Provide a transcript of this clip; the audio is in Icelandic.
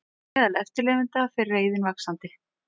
Meðal eftirlifenda fer reiðin vaxandi